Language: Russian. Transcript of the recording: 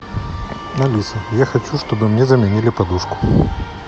алиса я хочу чтобы мне заменили подушку